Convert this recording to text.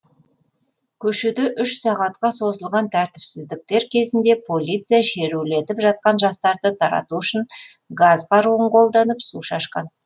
көшеде үш сағатқа созылған тәртіпсіздіктер кезінде полиция шерулетіп жатқан жастарды тарату үшін газ қаруын қолданып су шашқан